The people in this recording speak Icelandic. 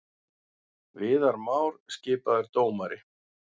Viðar Már skipaður dómari